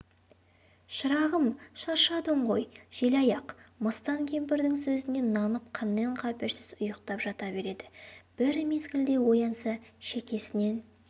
шырағым шаршадың ғой желаяқ мыстан кемпірдің сөзіне нанып қаннен-қаперсіз ұйықтап жата береді бір мезгілде оянса шекесінен